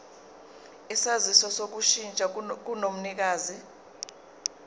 isaziso sokushintsha komnikazi